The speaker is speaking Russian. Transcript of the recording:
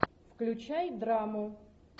включай драму